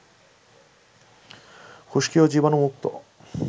খুশকি ও জীবাণুমুক্ত